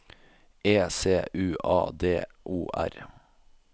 E C U A D O R